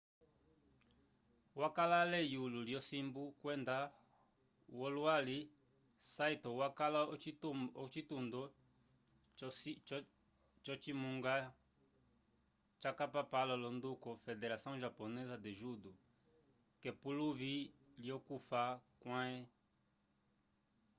wakala ale eyulo lyosimbu kwenda wolwali saito wakala ocitundo co cimunga capapalo l'onduko federação japonesa de judo k'epuluvi lyokufa kwãhe